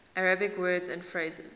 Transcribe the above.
arabic words and phrases